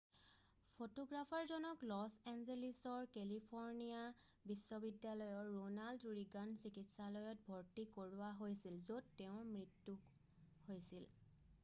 ফটোগ্ৰাফাৰজনক লছ এঞ্জেলিছৰ কেলিফ'ৰৰ্নিয়া বিশ্ববিদ্যালয়ৰ ৰোনাল্ড ৰীগান চিকিৎসালয়ত ভৰ্তি কৰোৱা হৈছিল য'ত তেওঁৰ মৃত্যু হৈছিল